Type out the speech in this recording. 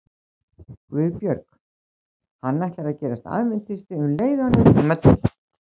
GUÐBJÖRG: Hann ætlar að gerast aðventisti um leið og hann hefur tíma til.